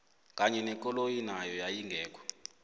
kanye nekoloyi nayo yayingekho